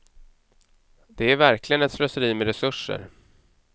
Det är verkligen ett slöseri med resurser.